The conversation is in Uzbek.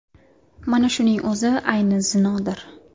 Mana shuning o‘zi ayni zinodir.